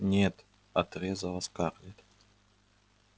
нет отрезала скарлетт